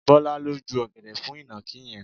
Bọlá ló ju ọ̀gẹ̀dẹ̀ fún ìnàkí yẹn.